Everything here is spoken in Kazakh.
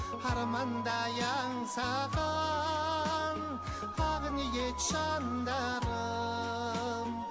армандай аңсаған ақ ниет жандарым